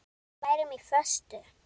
Að við værum á föstu.